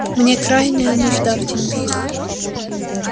мне крайняя нужда в деньгах